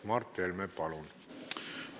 Mart Helme, palun!